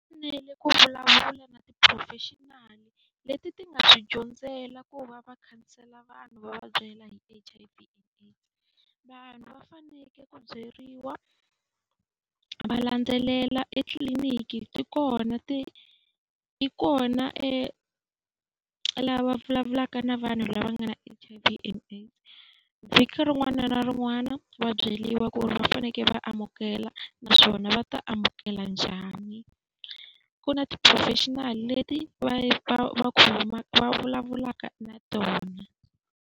U fanele ku vulavula na ti-professional leti ti nga swi dyondzela ku va va khansela vanhu va va byela hi H_I_V and AIDS. Vanhu va fanekele ku byeriwa va landzelela etliliniki ti kona ti ti kona lava vulavulaka na vanhu lava nga na H_I_V and AIDS. Vhiki rin'wana na rin'wana va byeriwa ku ri va fanekele va amukela naswona va ta amukela njhani. Ku na ti-professional leti va va va va vulavulaka na tona.